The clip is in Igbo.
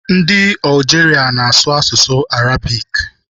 Ndị Algeria na-asụ asụsụ Arabic.